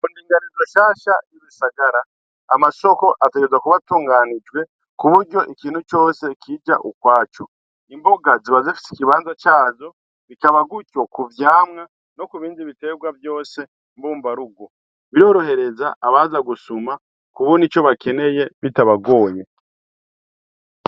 Indingarizo shasha yigisagara amasoko ategerezwa atunganijwe kuburyo ikintu cose kija ukwaco imboga ziba zifise ikibanza cazo bikaba gutyo kuvyamwa no kubindi bitegwa vyose mbumba rugo. Birorohereza abaza gusuma kubona ico bakeneye bitabagoye.